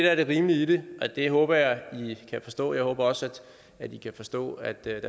er det rimelige i det og det håber jeg i kan forstå jeg håber også at i kan forstå at der